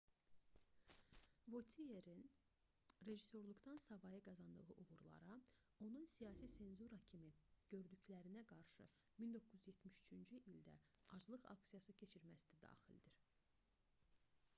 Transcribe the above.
votierin rejissorluqdan savayı qazandığı uğurlara onun siyasi senzura kimi gördüklərinə qarşı 1973-cü ildə aclıq aksiyası keçirməsi də daxildir